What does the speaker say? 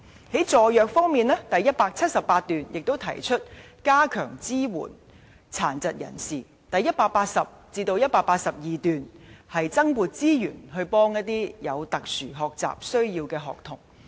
在助弱方面，第178段提出加強支援殘疾人士；第180段至第182段提出增撥資源幫助有特殊學習需要的學童。